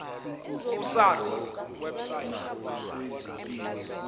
ku sars website